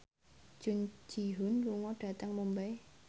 Jun Ji Hyun lunga dhateng Mumbai